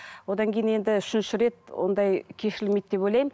одан кейін енді үшінші рет ондай кешірілмейді деп ойлаймын